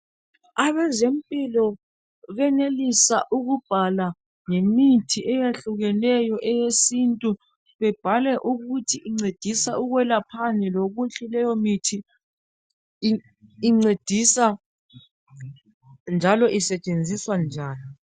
Abezempilakahle benelisa ukubhala ngemithi eyehlukeneyo eyesintu. Bebhale ukuthi incedisa ukwelaphani lokuthi leyomithi isetshenziswa njani.